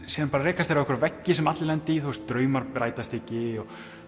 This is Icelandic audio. síðan rekast þeir á veggi sem allir lenda í draumar rætast ekki